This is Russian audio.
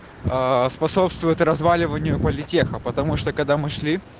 аа способствует разваливанию политеха потому что когда мы шли